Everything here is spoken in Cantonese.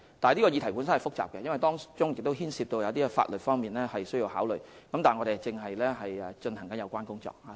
這項議題是複雜的，因為當中牽涉到一些必須考慮的法律問題，但我們正進行有關工作。